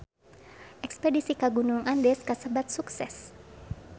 Espedisi ka Gunung Andes kasebat sukses